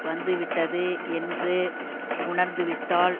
வந்து விட்டால் என்று உணர்ந்துவிட்டால்